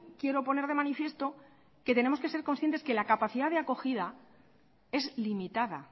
quiero poner de manifiesto que tenemos que ser conscientes que la capacidad de acogida es limitada